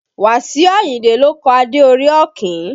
Wasiu Ayinde ló kọ Adé orí Ọ̀kín